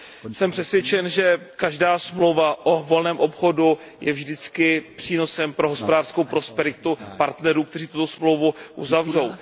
Jsem přesvědčen, že každá smlouva o volném obchodu je vždycky přínosem pro hospodářskou prosperitu partnerů, kteří tuto smlouvu uzavřou.